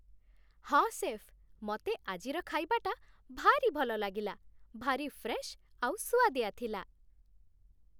ହଁ, ଶେଫ୍, ମତେ ଆଜିର ଖାଇବାଟା ଭାରି ଭଲଲାଗିଲା । ଭାରି ଫ୍ରେଶ୍ ଆଉ ସୁଆଦିଆ ଥିଲା ।